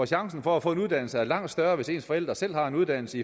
chancen for at få en uddannelse er langt større hvis ens forældre selv har en uddannelse